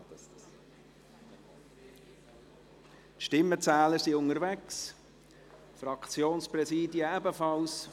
Die Stimmenzähler sind unterwegs, die Fraktionspräsidien ebenfalls.